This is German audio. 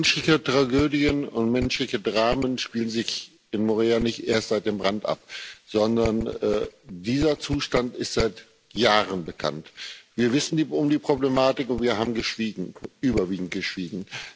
Menschliche Tragödien und menschliche Dramen spielen sich in Moria nicht erst seit dem Brand ab, sondern dieser Zustand ist seit Jahren bekannt. Wir wissen um die Problematik und wir haben geschwiegen überwiegend geschwiegen.